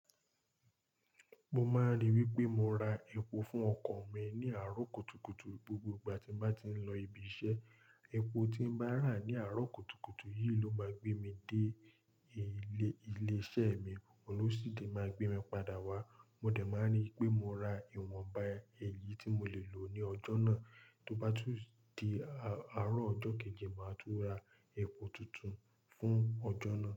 Mo máa ríi wípé mo ra epo fún ọkọ̀ mi ní àárọ̀ kùtùkùtù gbogbo ìgbà tí n bá ti ń lọ ibi iṣẹ́. Epo tí ì bá rà ní àárọ̀ kùtùkùtù yìí ló máa gbé mi dé ilé-ilé-iṣẹ́ mi, olú sì dé máa gbé mi padà wá. Mo dẹ̀ máa ríi wípé mo ra ìwọ̀nba ẹyì tí mo lè lò ní ọjọ́ náà, tó bá tún di àárọ̀ ọjọ́ kejì, màá tún ra epo tuntun fún ọjọ́ náà.